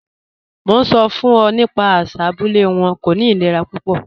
Mo n sọ fun ọ nípa àṣà abúlẹ̀ wọn, kò ní ìlẹ̀rà púpọ̀.